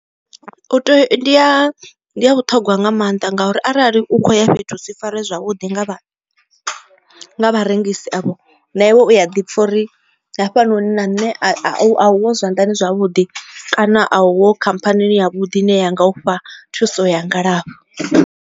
U tea u ndi ya ndi ya vhuṱhogwa nga maanḓa ngauri arali u kho uya fhethu usi faree zwavhuḓi nga vha nga vharengise avho na iwe u ya ḓi pfha uri hafhanoni na nṋe a a a uho zwanḓani zwavhuḓi kana a uho khamphani ya vhuḓi i ne ya nga u fha thuso ya ngalafho.